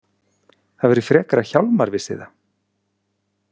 Það væri frekar að Hjálmar vissi það.